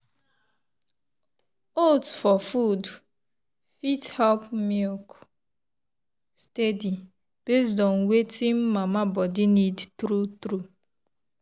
oats for food fit help milk steady based on wetin mama body need true true.